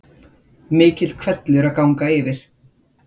Mikill hvellur að ganga yfir